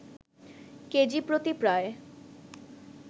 কেজিপ্রতি প্রায়